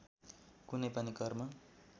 कुनै पनि कर्म